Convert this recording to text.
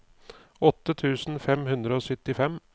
åtte tusen fem hundre og syttifem